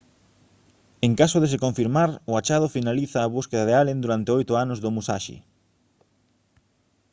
en caso de se confirmar o achado finaliza a busca de allen durante oito anos do musashi